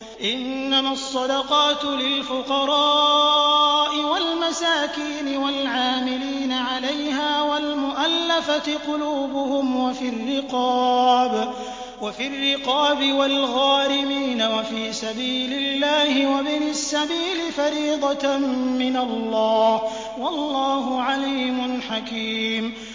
۞ إِنَّمَا الصَّدَقَاتُ لِلْفُقَرَاءِ وَالْمَسَاكِينِ وَالْعَامِلِينَ عَلَيْهَا وَالْمُؤَلَّفَةِ قُلُوبُهُمْ وَفِي الرِّقَابِ وَالْغَارِمِينَ وَفِي سَبِيلِ اللَّهِ وَابْنِ السَّبِيلِ ۖ فَرِيضَةً مِّنَ اللَّهِ ۗ وَاللَّهُ عَلِيمٌ حَكِيمٌ